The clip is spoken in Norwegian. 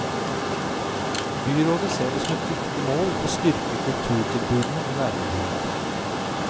Byrådet ser det som et viktig mål å styrke kulturtilbudene i nærmiljøene.